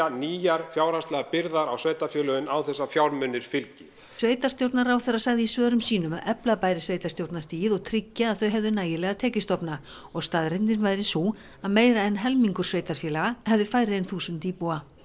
nýjar fjárhagslegar byrðar á sveitarfélögin án þess að fjármunir fylgi sveitarstjórnarráðherra sagði í svörum sínum að efla bæri sveitarstjórnarstigið og tryggja að þau hefðu nægilega tekjustofna og staðreyndin væru sú að meira en helmingur sveitarfélga hefði færri en þúsund íbúa